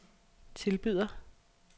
tilbyder